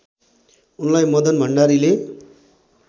उनलाई मदन भण्डारीले